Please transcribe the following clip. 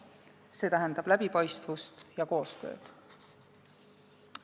See tähendab läbipaistvust ja koostööd.